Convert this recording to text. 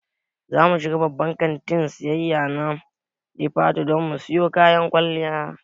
Zamu shiga babban kantin siyayya na Jifatu don mu siyo kayan kwalliya